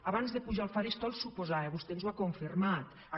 abans de pujar al faristol suposava vostè ens ho ha confirmat